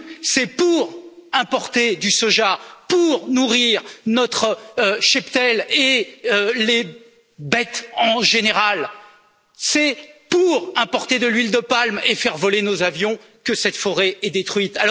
C'est pour importer du soja pour nourrir notre cheptel et les bêtes en général, c'est pour importer de l'huile de palme et faire voler nos avions que cette forêt est détruite.